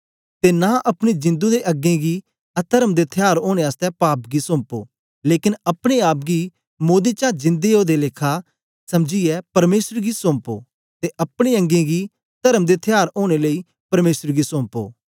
ते नां अपनी जिंदु दे अंगें गी अतर्म दे थयार ओनें आसतै पाप गी सौंपो लेकन अपने आप गी मोदें चा जिन्दा ओदे आला लेखा समझीयै परमेसर गी सौंपो ते अपने अंगें गी तर्म दे थयार ओनें लेई परमेसर गी सौंपो